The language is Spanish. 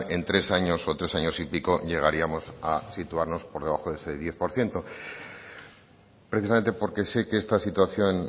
en tres años o tres años y pico llegaríamos a situarnos por debajo de ese diez por ciento precisamente porque sé que esta situación